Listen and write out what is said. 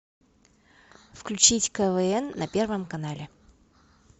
включить квн на первом канале